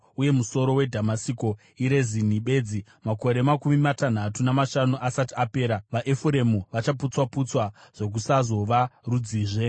uye musoro weDhamasiko iRezini bedzi. Makore makumi matanhatu namashanu asati apera, vaEfuremu vachaputswa-putswa zvokusazova rudzizve.